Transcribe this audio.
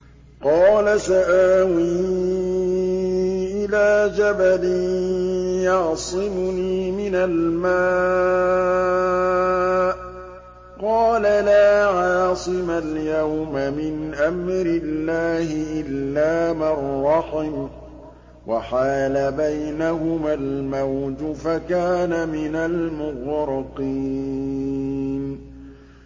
قَالَ سَآوِي إِلَىٰ جَبَلٍ يَعْصِمُنِي مِنَ الْمَاءِ ۚ قَالَ لَا عَاصِمَ الْيَوْمَ مِنْ أَمْرِ اللَّهِ إِلَّا مَن رَّحِمَ ۚ وَحَالَ بَيْنَهُمَا الْمَوْجُ فَكَانَ مِنَ الْمُغْرَقِينَ